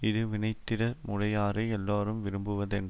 இது வினைத்திட முடையாரை எல்லாரும் விரும்புவரென்ற